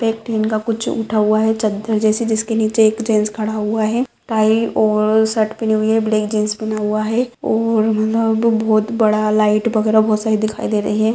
पे ठेंगा कुछ उठा हुआ है चदर जैसे जिसके निचे एक गेट्स खड़ा हुआ हैं टाई और शर्ट पहनी हुई है ब्लैक जीन्स पहना हुआ है और मतलब बोहत बड़ा लाइट वगेरा बोहोत सारी दिखाई दे रही हैं।